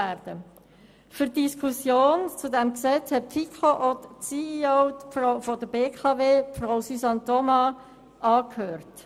In der Diskussion zu diesem Gesetz hat die FiKo auch die CEO der BKW, Frau Suzanne Thoma, angehört.